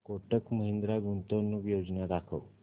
कोटक महिंद्रा गुंतवणूक योजना दाखव